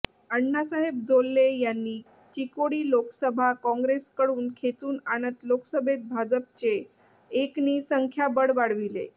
आण्णासाहेब जोल्ले यांनी चिकोडी लोकसभा काँग्रेसकडून खेचून आणत लोकसभेत भाजपचे एकने संख्याबळ वाढविले